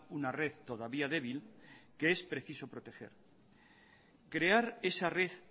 una red todavía débil que es preciso proteger crear esa red